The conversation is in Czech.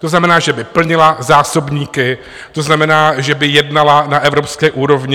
To znamená, že by plnila zásobníky, to znamená, že by jednala na evropské úrovni.